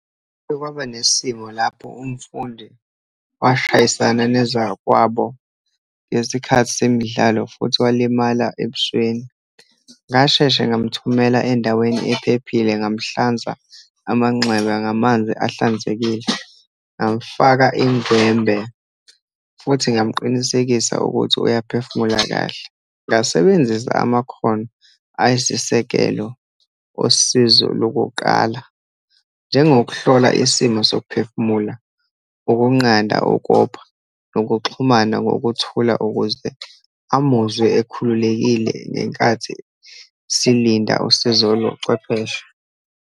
Kuke kwaba nesimo lapho umfundi washayisana nezakwabo ngesikhathi semidlalo, futhi walimala ebusweni. Ngasheshe ngamthumela endaweni ephephile, ngamhlanza amanxeba ngamanzi ahlanzekile, ngamfaka indlwembe, futhi ngamqinisekisa ukuthi uyaphefumula kahle. Ngasebenzisa amakhono ayisisekelo osizo lokuqala, njengokuhlola isimo zokuphefumula, ukunqanda ukopha, nokuxhumana ngokuthula, ukuze amuzwe ekhululekile ngenkathi silinda usizo lobuchwepheshe.